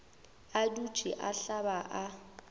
a dutše a hlaba a